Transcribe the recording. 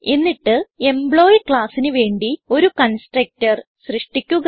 എന്നിട്ട് എംപ്ലോയി ക്ലാസ്സിന് വേണ്ടി ഒരു കൺസ്ട്രക്ടർ സൃഷ്ടിക്കുക